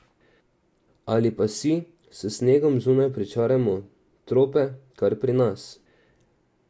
Ali pa si, s snegom zunaj, pričarajmo trope kar pri nas.